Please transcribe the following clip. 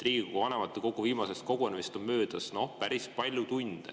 Riigikogu vanematekogu viimasest kogunemisest on möödas päris palju tunde.